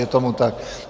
Je tomu tak.